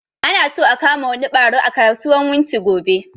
Ana so a kama wani ɓaro a kasuwan wunti gobe